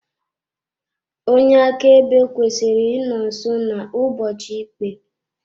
Onye akaebe kwesịrị ịnọ nso n'ụbọchị ikpe.